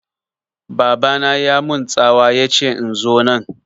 Baba na ya mun tsawa yace in zo nan